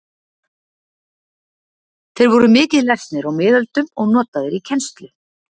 Þeir voru mikið lesnir á miðöldum og notaðir í kennslu.